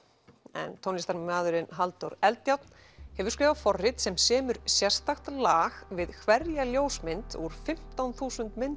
en tónlistarmaðurinn Halldór Eldjárn hefur skrifað forrit sem semur sérstakt lag við hverja ljósmynd úr fimmtán þúsund mynda